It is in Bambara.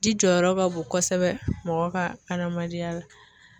Ji jɔyɔrɔ ka bon kosɛbɛ mɔgɔ ka adamadenya la.